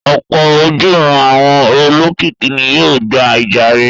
Ọ̀pọ̀ ojúuran àwọn olókìkí ni yóò gba ìjàre.